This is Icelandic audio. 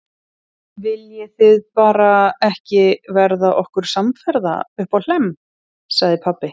Viljið þið bara ekki verða okkur samferða uppá Hlemm, sagði pabbi.